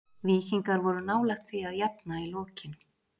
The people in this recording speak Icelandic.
Víkingar voru nálægt því að jafna í lokin.